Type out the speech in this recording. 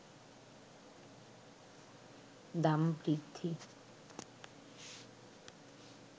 দাম বৃদ্ধি